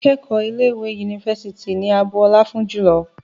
Àwọn akẹ́kọ̀ọ́ ilé ìwé yunifásítì ni a bu ọlá fún jùlọ